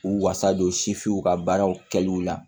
U wasa don sifinw ka baaraw kɛliw la